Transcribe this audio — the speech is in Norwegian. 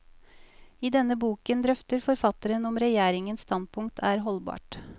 I denne boken drøfter forfatteren om regjeringens standpunkt er holdbart.